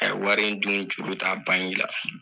Ɛɛ wari in dun juru t'a ban i la